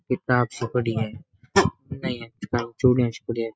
किताब सी पड़ी है चुळेच सी पड़ी है।